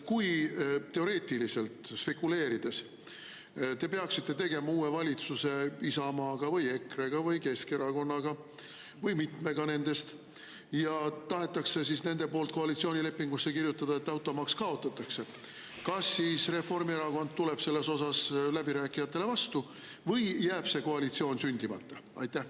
Kui te teoreetiliselt – spekuleerin – peaksite tegema uue valitsuse Isamaaga või EKRE-ga või Keskerakonnaga või mitmega nendest ja nemad tahavad koalitsioonilepingusse kirjutada, et automaks kaotatakse, siis kas Reformierakond tuleb läbirääkijatele vastu või jääb see koalitsioon sündimata?